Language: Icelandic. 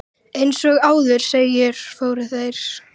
Eins og áður segir, fóru þeir